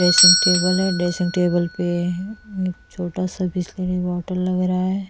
Dressing table है dressing table पे एक छोटा सा बिसलेरी बोतल लग रहा है।